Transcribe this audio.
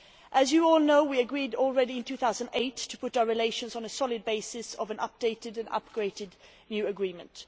As you all already know, we agreed in 2008 to put our relations on a solid basis of an updated and upgraded new agreement.